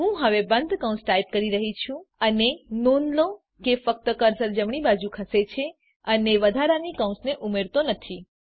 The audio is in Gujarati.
હું હવે બંધ કૌંસ ટાઈપ કરી રહ્યી છું અને નોંધ લો કે ફક્ત કર્સર જમણી બાજુ ખસે છે અને વધારાની કૌંસ ઉમેરાતી નથી